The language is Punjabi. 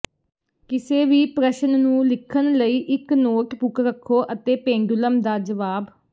ਕਿਸੇ ਵੀ ਪ੍ਰਸ਼ਨ ਨੂੰ ਲਿਖਣ ਲਈ ਇੱਕ ਨੋਟਬੁਕ ਰੱਖੋ ਅਤੇ ਪੇਂਡੂਲਮ ਦਾ ਜਵਾਬ